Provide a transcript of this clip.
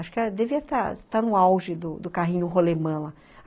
Acho que devia estar no auge do carrinho rolemã lá